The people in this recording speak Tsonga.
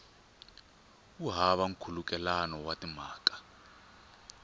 wu hava nkhulukelano wa timhaka